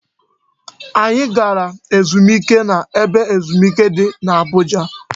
Anyị gara ezumike na ebe ezumike di n'Abuja